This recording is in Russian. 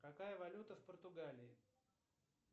какая валюта в португалии